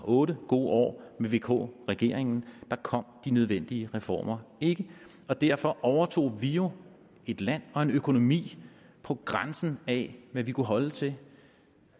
otte gode år med vk regeringen da kom de nødvendige reformer ikke og derfor overtog vi jo et land og en økonomi på grænsen af hvad vi kunne holde til